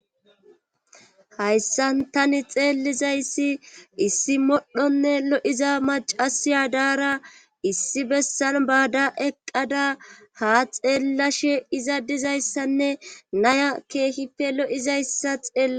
Hayssan tani xeellizayssi issi modhonne lo'iza macasiya daara issi bessan baada eqqada ha xeellashe iza dizayssanne naya keehife lo'izayssa xeeli.